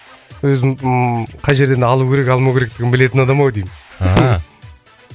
өзін қай жерден алу керек алмау керектігін білетін адам ау деймін